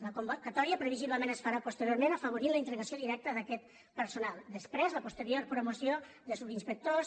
la convocatòria previsiblement es farà posteriorment i afavorirà la integració directa d’aquest personal després la posterior promoció de subinspectors